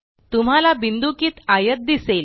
तुम्हाला बिन्दुकित आयत दिसेल